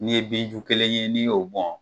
N'i ye bin ju kelen ye n'i y'o bon